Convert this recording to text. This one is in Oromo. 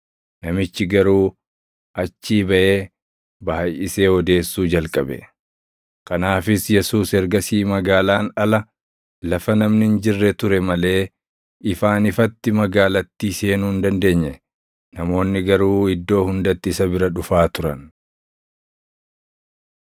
Namichi garuu achii baʼee baayʼisee odeessuu jalqabe. Kanaafis Yesuus ergasii magaalaan ala, lafa namni hin jirre ture malee ifaan ifatti magaalattii seenuu hin dandeenye. Namoonni garuu iddoo hundatti isa bira dhufaa turan.